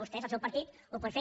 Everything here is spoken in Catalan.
vostès el seu partit ho pot fer